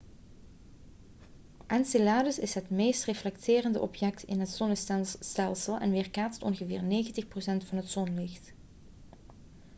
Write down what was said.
enceladus is het meest reflecterende object in het zonnestelsel en weerkaatst ongeveer 90 procent van het zonlicht